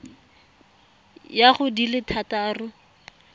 ya go di le thataro